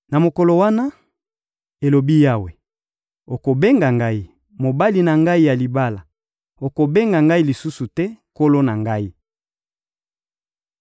Na mokolo wana, elobi Yawe, okobenga ngai: «Mobali na ngai ya libala;» okobenga ngai lisusu te: «Nkolo na ngai.»